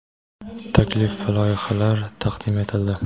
taklif va loyihalar taqdim etildi.